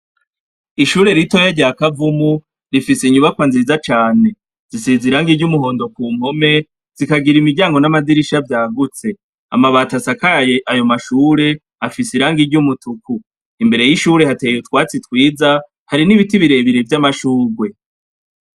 Ishure ritoyi rya kavumu rifise inyubakwa nziza cane isize iragi ry'umuhondo ku mpome zikagira imiryango n'amadirisha yagutse, amabati asakaye ayo mashure afise ibara ry'umutuku, imbere y'ishure hateye utwatsi twiza har'ibiti birebire vya mashurwe.